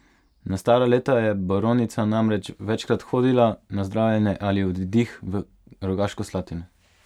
Na stara leta je baronica namreč večkrat hodila na zdravljenje ali oddih v Rogaško Slatino.